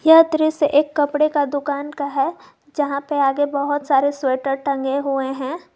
यह दृश्य एक कपड़े की दोकान का है जहां पर आगे बहोत सारे स्वेटर टंगे हुए हैं।